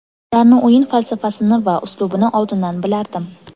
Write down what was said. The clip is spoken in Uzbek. Ularni o‘yin falsafasini va uslubini oldindan bilardim.